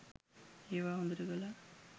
ඒවා හොඳට කළා.